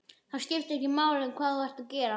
Það skiptir ekki máli hvað þú ert að gera.